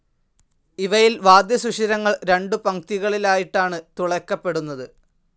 ഇവയിൽ വാദ്യസുഷിരങ്ങൾ രണ്ടു പംക്തികളിലായിട്ടാണ് തുളയ്ക്കപ്പെടുന്നത്.